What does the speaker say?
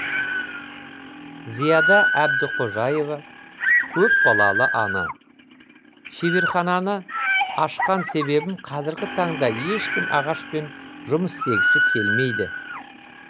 зияда әбдіқожаева көпбалалы ана шеберхананы ашқан себебім қазіргі таңда ешкім ағашпен жұмыс істегісі келмейді